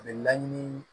A bɛ laɲini